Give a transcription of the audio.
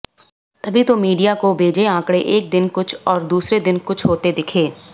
तभी तो मीडिया को भेजे आंकड़े एक दिन कुछ और दूसरे दिन कुछ होते दिखे